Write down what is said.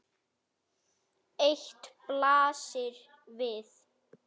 Eitt blasir við.